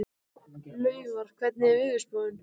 Laufar, hvernig er veðurspáin?